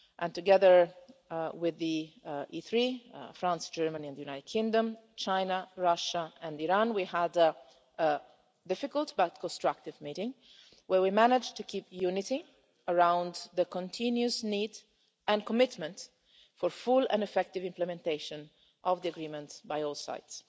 Together with the E3 France, Germany and the United Kingdom, China, Russia and Iran we had a difficult but constructive meeting where we managed remain united concerning the continuous need and commitment for full and effective implementation of the agreement by all sides.